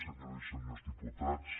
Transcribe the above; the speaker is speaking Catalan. senyores i senyors diputats